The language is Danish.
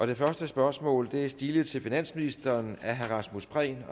det første spørgsmål er stilet til finansministeren af herre rasmus prehn